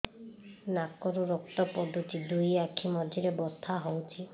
ନାକରୁ ରକ୍ତ ପଡୁଛି ଦୁଇ ଆଖି ମଝିରେ ବଥା ହଉଚି